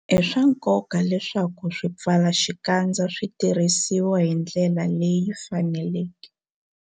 I swa nkoka leswaku swipfalaxikandza swi tirhisiwa hi ndlela leyi faneleke.